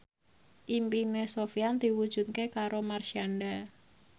impine Sofyan diwujudke karo Marshanda